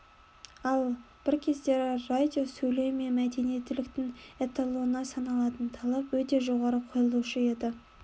ал бір кездері радио сөйлеу мен мәдениеттіліктің эталоны саналатын талап өте жоғары қойылушы еді